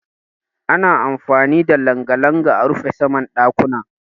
Ana amfani da langa-langa a rufe saman ɗakuna.